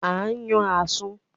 À ń yàn Àsun